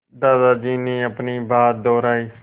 दादाजी ने अपनी बात दोहराई